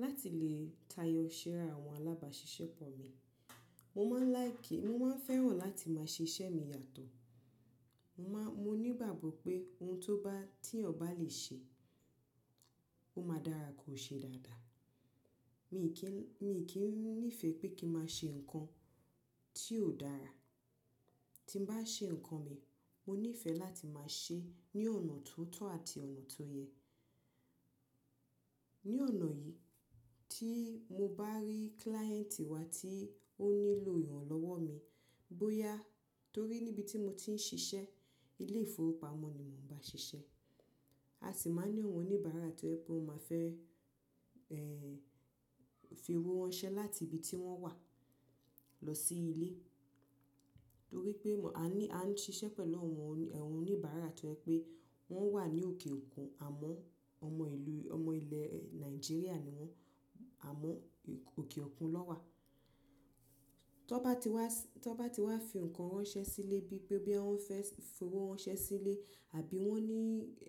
Láti lè tayọ iṣẹ́ àwọn alábàáṣiṣẹ́ pọ̀ mi, mo máa ń láìkì, mo máa ń fẹ́ràn láti máa ṣe iṣẹ́ mi yàtọ̀. Mo ní ìgbàgbọ́ pé ohun tó bá, tí ènìyàn bá lè ṣe, ó máa dára kò ṣe dáadáa. Mi kì í nífẹ̀ẹ́ pé kí máa ṣe nǹkan tí ó dára. Tí mo bá ṣe nǹkan mi, mo nífẹ̀ẹ́ láti máa ṣe ní ọ̀nà tó tọ́ àti ọ̀nà tó yẹ. Ní ọ̀nà yìí tí mo bá rí client wá tí ó nílò ìrànlọ́wọ́ mi, bóyá torí níbi tí mo ti ń ṣiṣẹ́, ilé-ìfowópamọ́ ni mò ń bá ṣiṣẹ́, a sì máa ní àwọn oníbàárà tó ẹ pé wọ́n máa fẹ́, ẹ́, fi owó wọn ṣẹ́ láti ibi tí wọ́n wà lọ sí ilé. Torí pé a ní, a ń ṣiṣẹ́ pẹ̀lú àwọn oníbàárà tó jẹ pé wọ́n wà ní òkè òkun àmọ́ ọmọ ìlú, ọmọ ilẹ̀ Nàìjíríà ni wọ́n àmọ́ òkè òkun ná wà tọ́ bá ti wá, tọ́ bá ti wá fi nǹkan ránṣẹ́ sílé bíi pé bí wọ́n fẹ́ fi owó ránṣẹ́ sílé àbí wọ́n ní,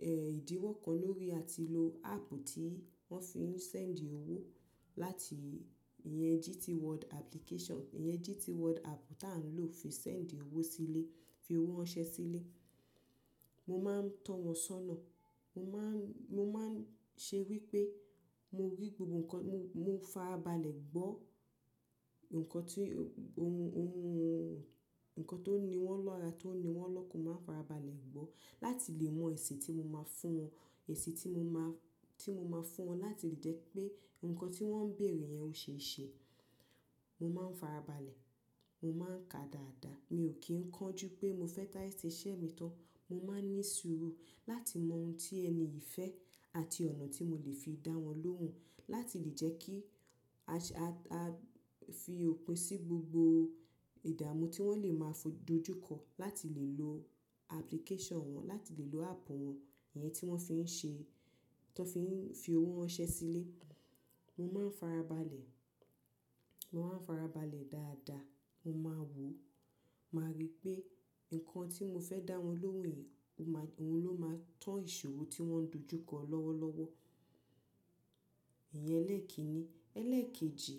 ẹ́, ìdíwọ́ kan lórí àti lo app tí wọ́n fi ń send owó láti ìyẹn GT World application, ìyẹn GT World app tá ń lò fi send owó sílé, fi owó ránṣẹ́ sílé. Mo máa ń tọ́ wọn sọ́nà. Mo máa ń, mo máa ń ṣe wí pé mo rí gbogbo nǹkan, mo farabalẹ̀ gbọ́ nǹkan tí ohun, ohun, nǹkan tó ní wọ́n lọ́ra, tó ní wọ́n lọ́kan, mo máa farabalẹ̀ gbọ́ láti lè mọ èsì tí mo máa fún wọn. Èsì tí mo máa, tí mo máa fún wọn láti lè jẹ́ pé nǹkan tí wọ́n ń bèèrè yẹn ó ṣe é ṣe. Mo máa ń farabalẹ̀, mo máa ń ka dáadáa. Mi ò kí ń kán jú pé mo fẹ́ sáré sé iṣẹ́ mi tán. Mo máa ń ní sùúrù láti mọ ohun tí ẹni yìí fẹ́ àti ọ̀nà tí mo lè fi dá wọn lóhùn láti lè jẹ́ kí a fi òpin sí gbogbo ìdààmú tí wọ́n lè máa dojúkọ láti lè lo application wọn, láti lè lo app wọn, ìyẹn tí wọ́n fi ń ṣe, tó fi ń fi owó ránṣẹ́ sílé. Mo máa ń farabalẹ̀, mo máa ń farabalẹ̀ dáadáa. Mo máa wò, màá rí pé nǹkan tí mo fẹ́ dá wọn lóhùn yìí, òhun ló máa tan ìṣòro tí wọ́n dojúkọ lọ́wọ́lọ́wọ́. Ìyẹn ẹlẹ́ẹ̀kini. Ẹlẹ́ẹ̀kejì,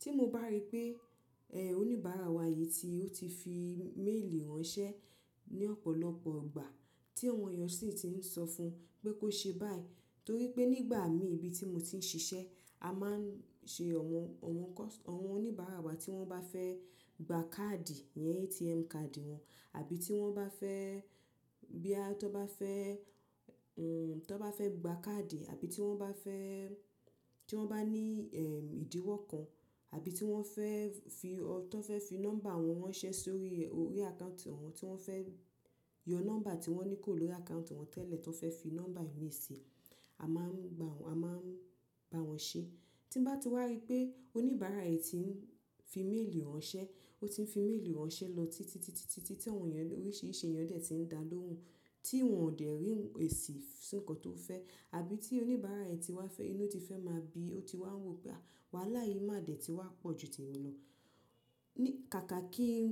tí mo bá rí pé, ẹ́, oníbàárà wa yìí tí ó ti fi méèlì ránṣẹ́ ní ọ̀pọ̀lọpọ̀ ìgbà tí àwọn èèyàn sì ti ń sọ fún pé kó ṣe báyìí, torí pé nígbà mí ibi tí mo ti ń ṣiṣẹ́, a máa ń ṣe àwọn, àwọn oníbàárà bá ti wọ́n bá fẹ́ gba káàdì yẹn, ATM card wọn, àbí tí wọ́n bá fẹ́, bóyá tan bá fẹ́, tọ́ bá fẹ́ gba káàdì àbí tí wọ́n bá fẹ́, tí wọ́n bá ní, ẹ́, ìdíwọ́ kan àbí tí wọ́n fẹ́ fi, tọ́ fẹ́ fi nọ́mbà wọn ránṣẹ́ sórí orí àkáùntì wọn, tí wọ́n fẹ́ yọ nọ́mbà tí wọ́n ní kò lórí àkáùntì wọn tẹ́lẹ̀, tan fẹ́ fi nọ́mbà mi sí, a máa ń gba wọn, a máa ń bá wọn ṣe. Tí bá ti wá rí pé oníbàárà yìí ti ń fi méèlì ránṣẹ́, ó ti ń fi méèlì ránṣẹ́ lọ títí, títí, títí tí àwọn èèyàn, oríṣiríṣi èèyàn dẹ̀ ti ń dá lóhùn, tí wọn ò dè rí èsì sí nǹkan tó fẹ́ àbí tí oníbàárà yìí ti wá fẹ́ inú ti fẹ́ máa bi, ó ti wá wò pé wàhálà yìí máa dẹ̀ ti wá pọ̀ ju tèmi lọ. Kàkà kí ń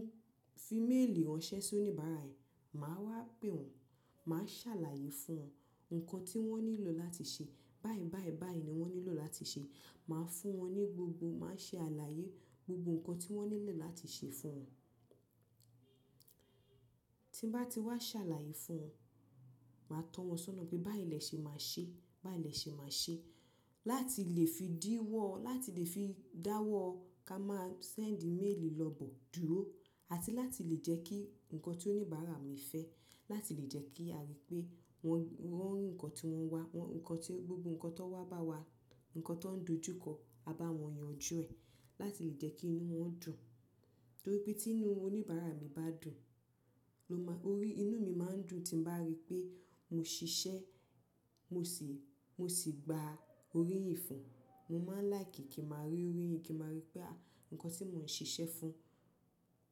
fi méèlì ránṣẹ́ sí oníbàárà yìí, màá wá pè wọ́n, màá ṣàlàyé fún wọn nǹkan tí wọ́n nílò láti ṣe. Báyìí, báyìí, báyìí ni wọ́n nílò láti ṣe. Màá fún wọn ní gbogbo, màá ṣe àlàyé gbogbo nǹkan tí wọ́n nílẹ̀ láti ṣe fún wọn. Tí bá ti wá ṣàlàyé fún wọn, màá tọ́ wọn sọ́nà pé bá ìlẹ̀ ṣe máa ṣe, bá ìlẹ̀ ṣe máa ṣe láti lè fi díwọ́, láti lè fi dáwọ́ ká máa send email lọ bọ̀ dúró làti láti lè jẹ́ kí nǹkan tí oníbàárà mi fẹ́, láti lè jẹ́ kí a rí pé wọ́n rí nǹkan tí wọ́n wá, nǹkan tí gbogbo nǹkan tó wá bá wa, nǹkan tó ń dojúkọ, a bá wọn yanjú ẹ, láti lè jẹ́ kí inú wọn dùn. Torí pé tí inú oníbàárà mi bá dùn, inú mi máa ń dùn tí bá rí pé mo ṣiṣẹ́, mo sì, mo sì gba oríyìn fún. Mo máa ń láìkì kí màá rí orí, kí màá rí pé àwọn nǹkan tí mò ń ṣe iṣẹ́ fún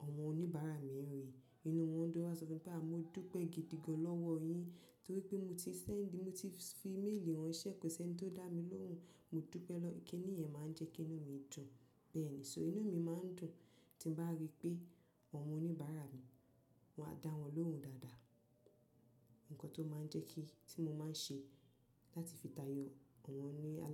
àwọn oníbàárà mi ń rí, inú wọn dùn wá sọ fún mi pé à, mo dúpẹ́ gidi gan lọ́wọ́ yín torí pé mo ti send, mo ti fi email ránṣẹ́, kò sí ẹni tó dá mi lóhùn, mo dúpẹ́ lọ. Kí ni ìyẹn máa ń jẹ́ kí inú mi dùn bẹ́ẹ̀ ni. So inú mi máa ń dùn tí bá rí pé àwọn oníbàárà mi, mo dá wọn lóhùn dáadáa. Nǹkan tó máa ń jẹ́ kí, tí mo máa ń ṣe láti fi tayọ àwọn ni aládàánú.